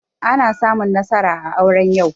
Ana samun nasara a aure yau